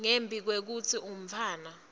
ngembi kwekutsi umntfwana